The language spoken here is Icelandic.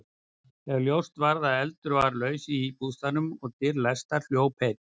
Þegar ljóst var að eldur var laus í bústaðnum og dyr læstar, hljóp einn